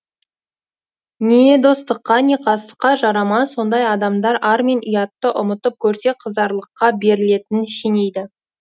не достыққа не қастыққа жарамас ондай адамдар ар мен ұятты ұмытып көрсе қызарлыққа берілетінін шенейді